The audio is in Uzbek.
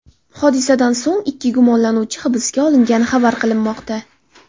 Hodisadan so‘ng ikki gumonlanuvchi hibsga olingani xabar qilinmoqda.